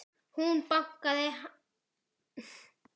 Hún bakaði, hann eldaði.